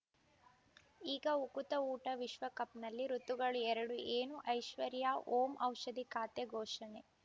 ಈಗ ಉಕುತ ಊಟ ವಿಶ್ವಕಪ್‌ನಲ್ಲಿ ಋತುಗಳು ಎರಡು ಏನು ಐಶ್ವರ್ಯಾ ಓಂ ಔಷಧಿ ಖಾತೆ ಘೋಷಣೆ